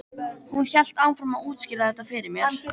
Hún hélt áfram að útskýra þetta fyrir mér.